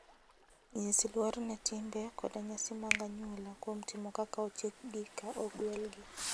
Nyis luor ne timbe koda nyasi mag anyuola kuom timo kaka ochikgi ka ogwelgi.